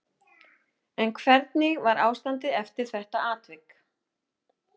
En hvernig var ástandið eftir þetta atvik?